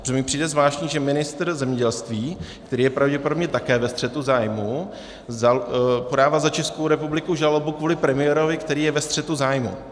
Protože mi přijde zvláštní, že ministr zemědělství, který je pravděpodobně také ve střetu zájmů, podává za Českou republiku žalobu kvůli premiérovi, který je ve střetu zájmů.